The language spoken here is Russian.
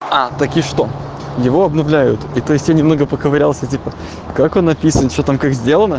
а так и что его обновляют и то есть я немного поковырялся типа как он написан что там как сделано